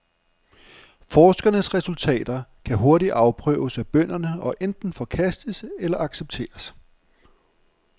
Forskernes resultater kan hurtigt afprøves af bønderne og enten forkastes eller accepteres.